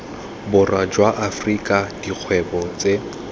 borwa jwa afrika dikgwebo tse